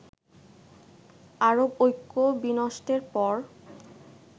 আরব ঐক্য বিনষ্টের পর